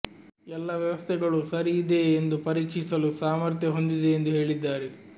ಎಲ್ಲಾ ವ್ಯವಸ್ಥೆಗಳೂ ಸರಿ ಇದೆಯೇ ಎಂದು ಪರೀಕ್ಷಿಸಲು ಸಾಮರ್ಥ್ಯ ಹೊಂದಿದೆ ಎಂದು ಹೇಳಿದ್ದಾರೆ